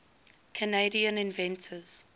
canadian inventors